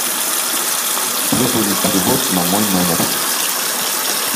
выполнить перевод на мой номер